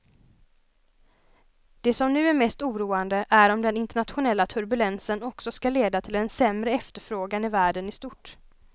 Det som nu är mest oroande är om den internationella turbulensen också ska leda till en sämre efterfrågan i världen i stort.